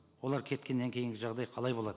олар кеткеннен кейінгі жағдай қалай болады